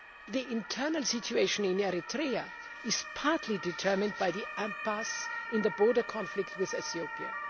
The internal situation in Eritrea is partly determined by the impasse in the border conflict with Ethiopia.